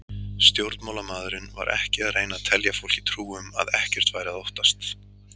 Stjórnmálamaðurinn var ekki að reyna að telja fólki trú um að ekkert væri að óttast.